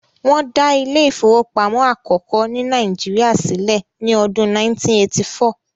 wón da Ilé ìfowópamọ́ akoko ni Naijiria silẹ ni Ọdun 1984